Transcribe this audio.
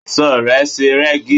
Aṣọ rẹ ṣe rẹ́gí.